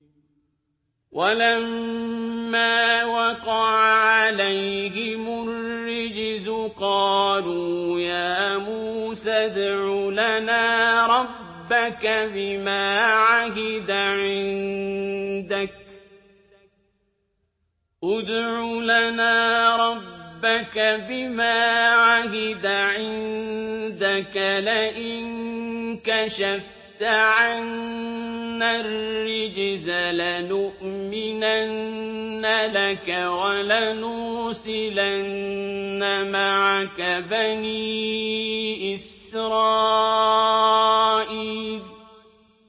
وَلَمَّا وَقَعَ عَلَيْهِمُ الرِّجْزُ قَالُوا يَا مُوسَى ادْعُ لَنَا رَبَّكَ بِمَا عَهِدَ عِندَكَ ۖ لَئِن كَشَفْتَ عَنَّا الرِّجْزَ لَنُؤْمِنَنَّ لَكَ وَلَنُرْسِلَنَّ مَعَكَ بَنِي إِسْرَائِيلَ